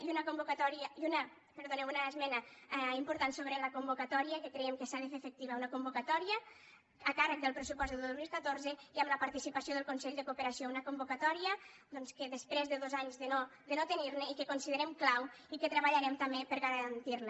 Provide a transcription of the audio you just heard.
i una esmena important sobre la convocatòria que creiem que s’ha de fer efectiva una convocatòria a càrrec del pressupost del dos mil catorze i amb la participació del consell de cooperació una convocatòria doncs després de dos anys de no tenir ne i que considerem clau i que treballarem també per a garantir la